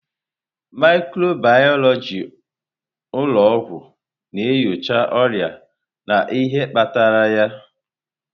Mikrobiyọlojị ụlọ ọgwụ na-enyocha ọrịa na ihe kpatara ya.